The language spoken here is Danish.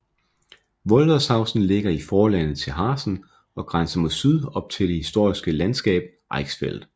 Wollershausen ligger i forlandet til Harzen og grænser mod syd op til det historiske landskab Eichsfeld